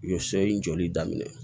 U ye so in jɔli daminɛ